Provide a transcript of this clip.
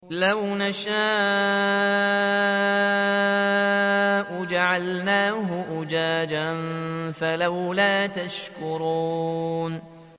لَوْ نَشَاءُ جَعَلْنَاهُ أُجَاجًا فَلَوْلَا تَشْكُرُونَ